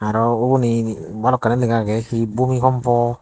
aa ubuni eni balokkani lega age hi bumi kompow.